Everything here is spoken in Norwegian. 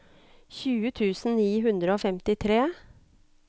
tjue tusen ni hundre og femtitre